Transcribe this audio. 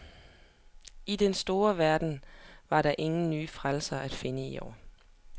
I den store verden var der ingen nye frelsere at finde i år.